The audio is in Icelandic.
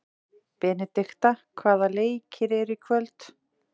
Benidikta, hvaða leikir eru í kvöld?